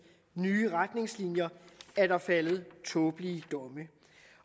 nye retningslinjer er der faldet tåbelige domme